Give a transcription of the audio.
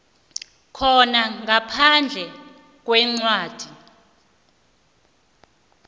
khona ngaphandle kwencwadi